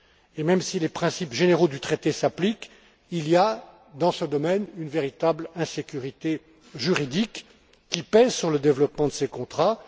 Et même si les principes généraux du traité s'appliquent, il y a, dans ce domaine, une véritable insécurité juridique qui pèse sur le développement de ces contrats.